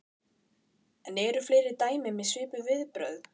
En eru fleiri dæmi um svipuð viðbrögð?